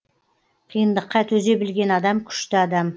қиындыққа төзе білген адам күшті адам